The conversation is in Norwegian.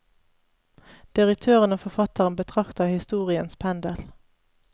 Direktøren og forfatteren betrakter historiens pendel.